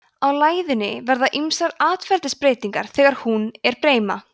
á læðunni verða ýmsar atferlisbreytingar þegar hún er breima